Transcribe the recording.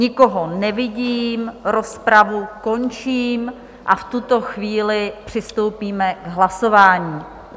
Nikoho nevidím, rozpravu končím a v tuto chvíli přistoupíme k hlasování.